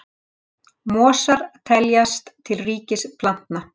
mosar teljast til ríkis plantna